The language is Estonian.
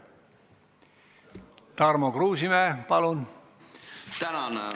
Tarmo Kruusimäe, palun!